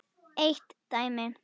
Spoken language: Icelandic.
Eitt dæmi.